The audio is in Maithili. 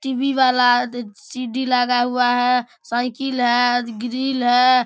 टी.वी. वाला दी सी.डी. लगा हुआ है साइकिल है ग्रिल है।